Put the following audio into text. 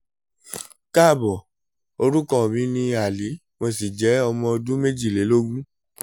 kaabo orúkọ mi ni ali mo sì jẹ́ ẹni ọdún mejilelogun